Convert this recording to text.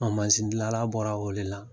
gilala bɔra o de la